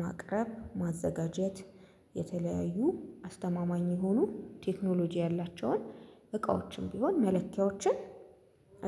ማቅረብ ማዘጋጀት። የተለያዩ አስተማማኝ የሆኑ ቴክኖሎጂ ያላቸውን እቃዎችን ቢሆን መለኪያዎችን